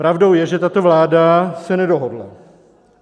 Pravdou je, že tato vláda se nedohodla.